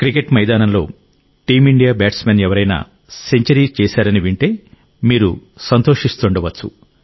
cricket మైదానంలో team India batsmen ఎవరైనా century చేశారని వింటే మీరు సంతోషిస్తుండవచ్చు